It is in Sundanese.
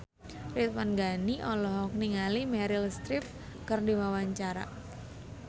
Ridwan Ghani olohok ningali Meryl Streep keur diwawancara